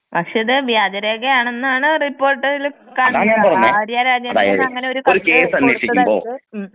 പക്ഷേ ഇത് വ്യാജരേഖ ആണെന്നാണ് റിപ്പോർട്ടില് കാണുന്നത് ആര്യ രാജേന്ദ്രനെതിരെ അങ്ങനെ ഒരു കത്ത് കൊടുത്തതവർക്ക് ഉം.